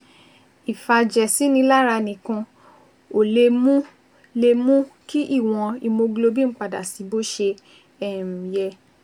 Ìfàjẹ̀sínilára nìkan ò lè mú lè mú kí ìwọ̀n hemoglobin padà sí bó ṣe um yẹ